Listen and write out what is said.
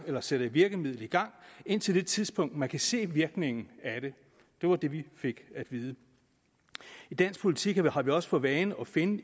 man sætter et virkemiddel i gang indtil det tidspunkt man kan se virkningen af det det var det vi fik at vide i dansk politik har vi også for vane at finde